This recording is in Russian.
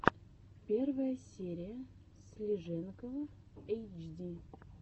первая серия слиженкова эйчди